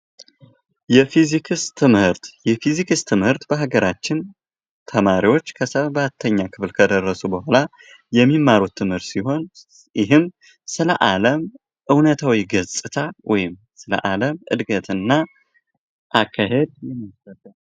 የፊዚክስ ትምህርት የፊዚክስ ትምህርትበሃገራችን ተማሪዎች ሰባተኛ ክፍል ከደረሱ በኋላ የሚማሩት ትምህርት ሲሆን፤ ይህም ስለ አለም እውነታዊ ገጽታ ወይም ስለ አለም እድገት እና አካሄድ የምንማርበት ነው።